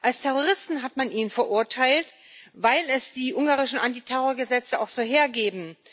Als Terroristen hat man ihn verurteilt, weil es die ungarischen Antiterrorgesetze auch so hergeben.